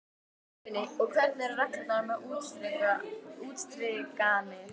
Guðný: Og hvernig eru reglurnar með útstrikanir?